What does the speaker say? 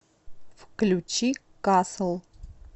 включи касл